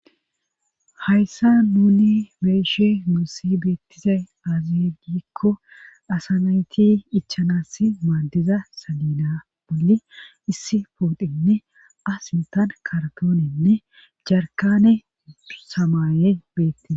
hayssa nuni beyishe nuusi beettizay azigikko asanayti ichanas maadiza salina bolli issi pootenne asintan kartoonenne jarkane samaaye beettiza